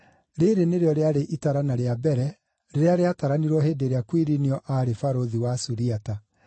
(Rĩĩrĩ nĩrĩo rĩarĩ itarana rĩa mbere rĩrĩa rĩataranirwo hĩndĩ ĩrĩa Kuirinio aarĩ barũthi wa Suriata.)